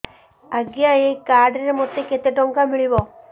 ଆଜ୍ଞା ଏଇ କାର୍ଡ ରେ ମୋତେ କେତେ ଟଙ୍କା ମିଳିବ